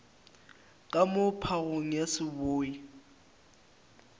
ka moo phagong ya seboi